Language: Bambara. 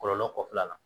Kɔlɔlɔ kɔfɛla la